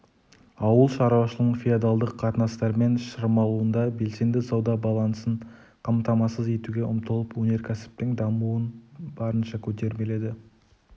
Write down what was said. ауыл шаруашылығының феодалдық қатынастармен шырмалуында белсенді сауда балансын қамтамасыз етуге ұмтылып өнеркәсіптің дамуын барынша көтермеледі